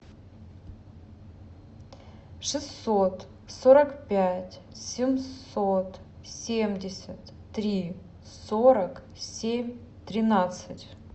шестьсот сорок пять семьсот семьдесят три сорок семь тринадцать